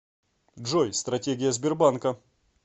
джой стратегия сбербанка